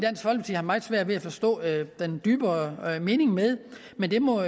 i har meget svært ved at forstå den dybere mening med men det må